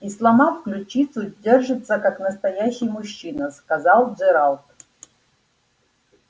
и сломав ключицу держится как настоящий мужчина сказал джералд